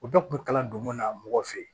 O bɛɛ kun bɛ kalan donko la mɔgɔ fɛ yen